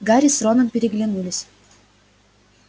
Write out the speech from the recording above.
гарри с роном переглянулись